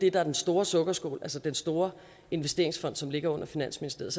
er den store sukkerskål altså den store investeringsfond som ligger under finansministeriet